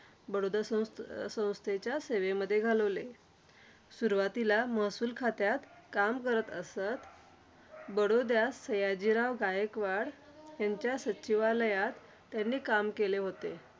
बडोदा संस्थे संस्थेच्या सेवेमध्ये घालवले. सुरुवातीला महसूल खात्यात काम करत असत. बडोदयात सयाजीराव गायकवाड यांच्या सचिवालयात त्यांनी काम केले होते.